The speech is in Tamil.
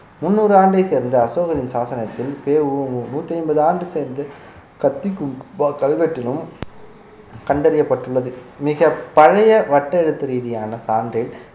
முந்நூறு ஆண்டை சேர்ந்த அசோகரின் சாசனத்தில் பெ உ மு நூற்றி ஐம்பது ஆண்டு சேர்ந்து கத்திகும்பா கல்வெட்டிலும் கண்டறியப்பட்டுள்ளது மிகப் பழைய வட்டெழுத்து ரீதியான சான்றில்